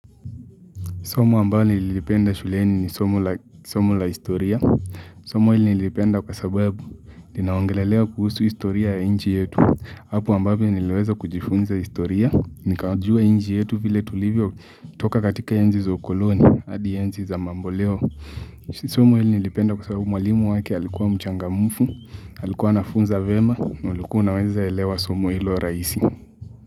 Somo ambalo nililipenda shuleni ni somo la historia. Somo hili nilipenda kwa sababu, linaongelelea kuhusu historia ya nchi yetu. Hapo ambavyo niliweza kujifunza historia. Nikajua nchi yetu vile tulivyotoka katika enzi za ukoloni, hadi enzi za mamboleo. Somo hili nilipenda kwa sababu mwalimu wake, alikuwa mchangamfu, alikuwa anafunza vyema, na ulikuwa unaweza elewa somo hilo rahisi.